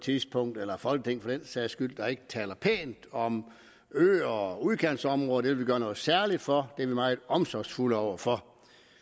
folketing for den sags skyld der ikke taler pænt om øer og udkantsområder vil vi gøre noget særligt for dem vi meget omsorgsfulde over for